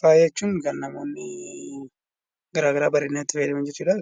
Faaya jechuun kan namoonni garaagaraa bareedinaaf itti fayyadaman jechuudha.